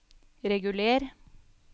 reguler